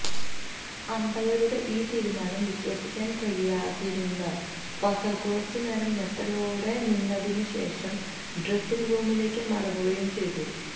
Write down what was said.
അമ്പയറുടെ ഈ തീരുമാനം വിശ്വസിക്കാൻ കഴിയാതിരുന്ന ഫസൽ കുറച്ച് നേരം ഞെട്ടലോടെ നിന്നതിന് ശേഷം ഡ്രെസ്സിംഗ് റൂമിലേക്ക് മടങ്ങുകയും ചെയ്തു